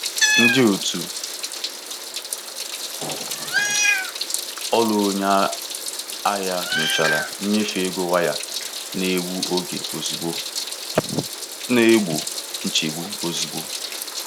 Ndị otu ọrụ onye ahịa nyochara nnyefe ego waya na-egbu oge ozugbo, na-egbo nchegbu ozugbo.